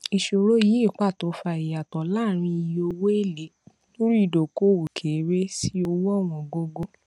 ìṣòro yìí pàtó fa ìyàtọ láàrin iye owó èlé lórí ìdókòwò kéré sí owó ọwọn gógó